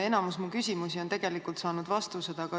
Enamik mu küsimusi on tegelikult saanud vastused.